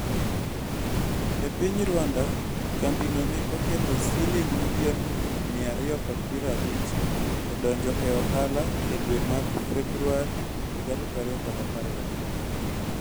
E piny Rwanda, kambino ne oketo siling milion 250 e donjo e ohala e dwe mar Februar 2015.